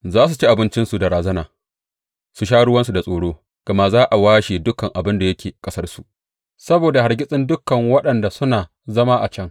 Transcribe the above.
Za su ci abincinsu da razana, su sha ruwansu da tsoro, gama za a washe dukan abin da yake ƙasarsu saboda hargitsin dukan waɗanda suna zama a can.